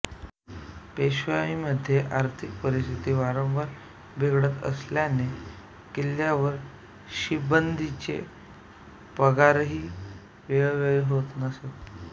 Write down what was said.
पेशवाईमध्ये आर्थिक परिस्थिती वांरवार बिघडत असल्याने किल्ल्यावर शिबंदीचे पगारही वेळेवर होत नसत